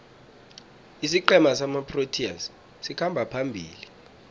isiqhema samaproteas sikhamba phambili